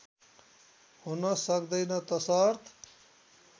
हुन सक्दैन तसर्थ